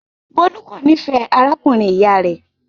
Bólú kò nífẹ̀ẹ́ arákùnrin-ìyá rẹ̀.